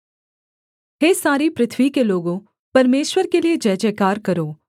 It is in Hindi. हे सारी पृथ्वी के लोगों परमेश्वर के लिये जयजयकार करो